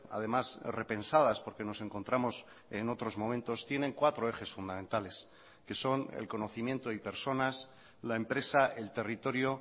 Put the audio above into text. además repensadas porque nos encontramos en otros momentos tienen cuatro ejes fundamentales que son el conocimiento y personas la empresa el territorio